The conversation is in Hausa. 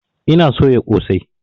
Ina soya ƙosai